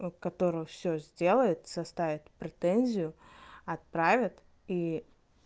которого всё сделает составит претензию отправят и